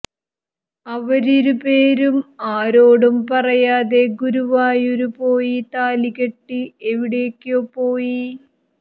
അവരിരുപേരും ആരോടും പറയാതെ ഗുരുവായൂര് പോയി താലികെട്ടി എവിടക്കോ പോയി